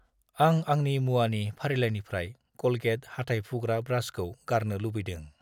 आं आंनि मुवानि फारिलाइनिफ्राय क'लगेट हाथाय फुग्रा ब्रासखौ गारनो लुबैदों।